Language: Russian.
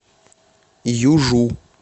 южу